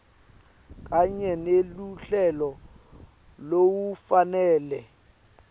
kanye neluhlelo lolufanele